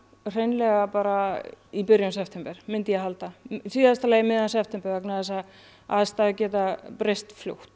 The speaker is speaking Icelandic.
hreinlega bara í byrjun september myndi ég halda í síðasta lagi um miðjan september vegna þess að aðstæður geta breyst fljótt